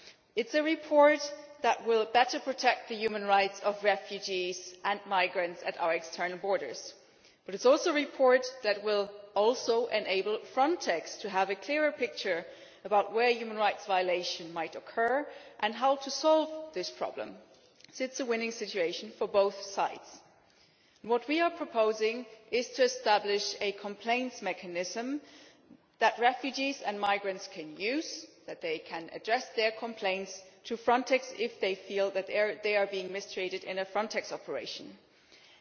It is a report that will protect the human rights of refugees and migrants at our external borders better, but it is also a report that will enable Frontex to have a clearer picture about where human rights violation might occur and how to solve this problem. It is a win win situation. What we are proposing is to establish a complaints mechanism that refugees and migrants can use, through which they can address their complaints to Frontex if they feel that they have been mistreated in a Frontex operation whether involving